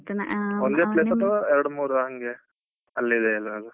ಒಂದೇ place ಅಥವಾ ಎರಡು ಮೂರ ಹಂಗೆ ಅಲ್ಲಿಗೆ ಎಲ್ಲಿಯಾದ್ರೂ.